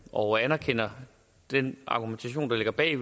og anerkender den argumentation der ligger bag det